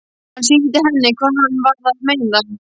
Hann sýndi henni hvað hann var að meina.